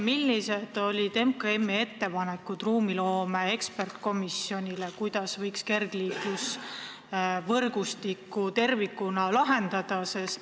Millised olid MKM-i ettepanekud ruumiloome eksperdikomisjonile, kuidas võiks kergliiklusvõrgustiku probleeme tervikuna lahendada?